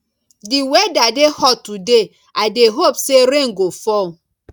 di weather dey hot today i dey hope say rain go fall